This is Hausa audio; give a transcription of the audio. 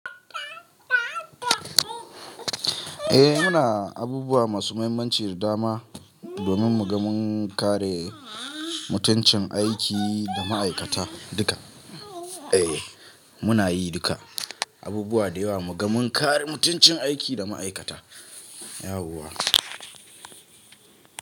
Eh muna abubuwa masu muhimmanci da dama domin mu ga mun kare mutuncin aiki da ma'aikata duka. Eh muna yi duka abubuwa da yawa mu ga mun kare mutuncin aiki da ma'aikata, yauwa.